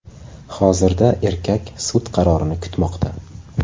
Hozirda erkak sud qarorini kutmoqda.